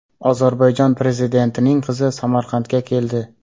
Ozarbayjon prezidentining qizi Samarqandga keldi.